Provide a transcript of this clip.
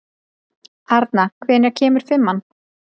Arna, hvenær kemur fimman?